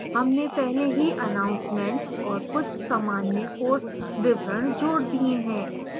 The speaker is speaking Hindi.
हमने पहले ही announcements और कुछ सामान्य course विवरण जोड़ दिए हैं